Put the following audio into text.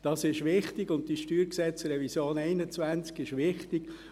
Dies ist wichtig, und die StG-Revision 2021 ist wichtig.